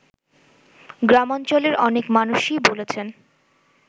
গ্রামাঞ্চলের অনেক মানুষই বলছেন